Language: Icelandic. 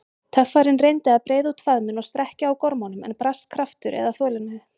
Töffarinn reyndi að breiða út faðminn og strekkja á gormunum, en brast kraftur eða þolinmæði.